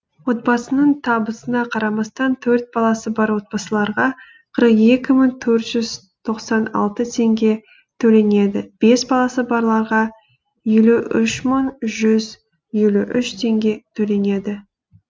отбасының табысына қарамастан төрт баласы бар отбасыларға қырық екі мың төрт жүз тоқсан алты теңге төленеді бес баласы барларға елу үш мың жүз елу үш теңге төленеді